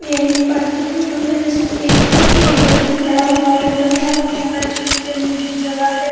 यह एक पार्क की फोटो है जिसमे एक व्यक्ति खड़ा हुआ है तथा यहाँ बच्चो की खेलने की जगह है।